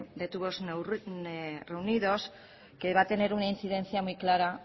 de tubos reunidos que va a tener una influencia muy clara